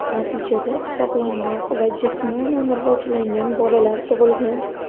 Natijada sog‘lomroq va jismonan rivojlangan bolalar tug‘ilgan.